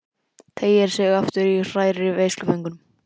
Teygir sig aftur í og hrærir í veisluföngunum.